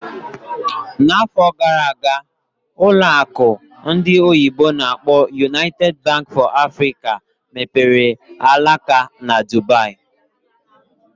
N'afọ gara aga, ụlọ akụ ndị oyibo n'akpọ "United Bank for Africa mepere alaka na Dubaì